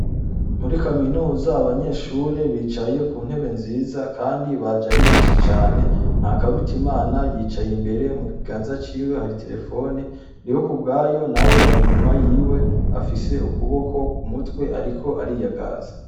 Muri kaminuza abanyeshure bicaye kuntebe nziza kandi baje aribeshi cane. NTAKARUTIMANA yicaye imbere, mukibanza ciwe har'iterefone. NDIHOKUBWAYO nawe ar'inyuma yiwe afise ukuboko k'umutwe ariko ariyagaza.